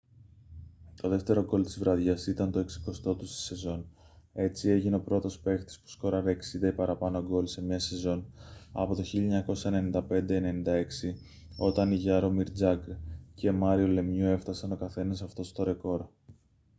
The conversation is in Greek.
το δεύτερο γκολ της βραδιάς ήταν το 60ο του στη σεζόν έτσι έγινε ο πρώτος παίκτης που σκόραρε 60 ή παραπάνω γκολ σε μια σεζόν από το 1995-96 όταν οι γιάρομιρ τζαγκρ και μάριο λεμιού έφτασαν ο καθένας αυτό το ρεκόρ